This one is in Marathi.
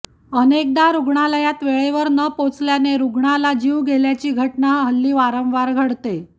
अनेकदा रुग्णालयात वेळेवर न पोचल्याने रुग्णाला जीव गेल्याची घटना हल्ली वारंवार घडते